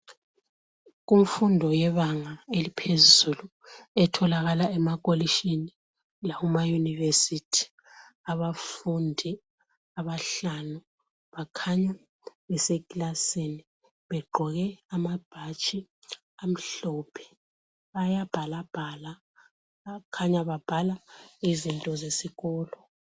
Kumfundo yebanga eliphezulu etholakala emakolitshini lakumaYunivesi abafundi abahlanu bakhanya besekilasini begqoke amabhatshi amhlophe. Bayabhalabhala, kukhanya babhala izinto zesikolo.